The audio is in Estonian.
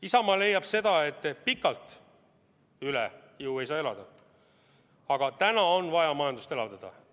Isamaa leiab, et pikalt üle jõu ei saa elada, aga täna on vaja majandust elavdada.